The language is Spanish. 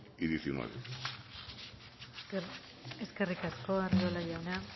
y dos mil diecinueve eskerrik asko arriola jauna